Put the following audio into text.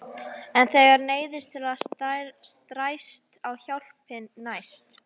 En þegar neyðin er stærst er hjálpin næst.